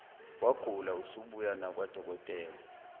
wagula usubuya nakwadokotela